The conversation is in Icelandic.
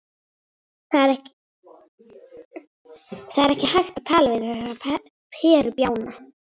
Það er ekki hægt að tala við þessa perubjána.